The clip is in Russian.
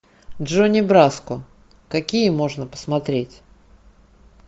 джонни браско какие можно посмотреть